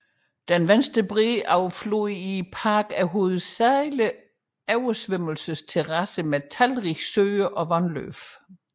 Den venstre bred af floden i parken er hovedsageligt oversvømmelsesterrasser med talrige søer og vandløb